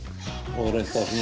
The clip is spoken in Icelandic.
og